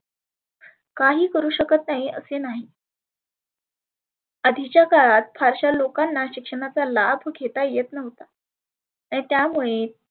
काही करु शकत नाही असे नाही. आधीच्या काळात फारश्या लोकांना शिक्षणाचा लाभ घेता येत नव्हता. त्यामुळे